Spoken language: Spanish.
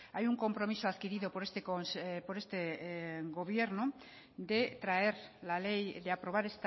hay un compromiso adquirido por este gobierno de traer la ley de aprobar